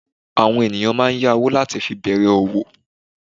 Àwọn ènìyàn máa n yá owó láti fi bèrè òwò